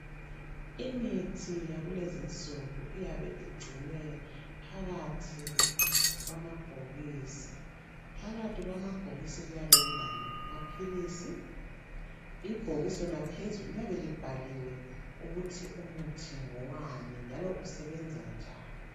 Imithi yakulezinsuku iyabe igcinwe phakathi kwama bhokisini. Phakathi kwamabhokisi kuyabe kulamaphilisi, ibhokisi lona phezulu liyabe libhaliwe ukuthi umuthi ngowani njalo usebenzanjani.